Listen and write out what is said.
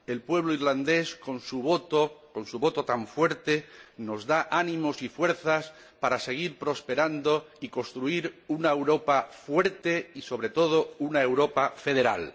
El pueblo irlandés, con su voto tan fuerte, nos da ánimos y fuerzas para seguir prosperando y construir una Europa fuerte y, sobre todo, una Europa federal.